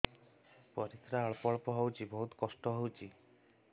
ପରିଶ୍ରା ଅଳ୍ପ ଅଳ୍ପ ହଉଚି ବହୁତ କଷ୍ଟ ହଉଚି